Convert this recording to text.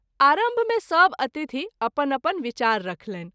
आरंभ मे सभ अतिथि अपन अपन विचार रखलनि।